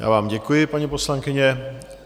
Já vám děkuji, paní poslankyně.